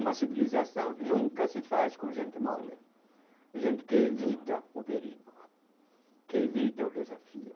Uma civilização nunca se faz com gente mole, gente que evita o perigo, que evita o desafio.